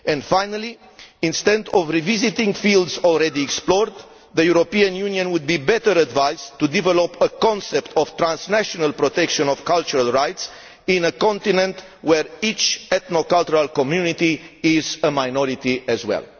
Finally, instead of revisiting fields already explored, the European Union would be better advised to develop a concept of transnational protection of cultural rights in a continent where each ethno cultural community is a minority as well.